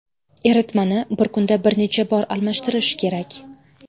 Eritmani bir kunda bir necha bor almashtirish kerak.